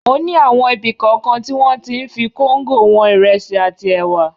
O ní àwọn ibi kọ̀ọ̀kan tí wọ́n ti ń fi kóńgò wọn ìrẹsì àti ẹ̀wà.